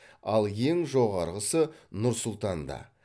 ал ең жоғарысы нұр сұлтанда